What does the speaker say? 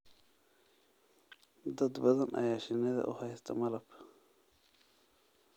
Dad badan ayaa shinnida u haysta malab.